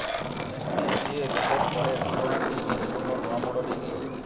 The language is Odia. ଏନଟିସିଏ ରିପୋର୍ଟ ପରେ ଘଟଣାଟି ସମ୍ପୂର୍ଣ୍ଣ ନୂଆ ମୋଡ ନେଇଛି